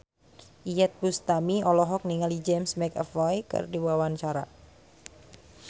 Iyeth Bustami olohok ningali James McAvoy keur diwawancara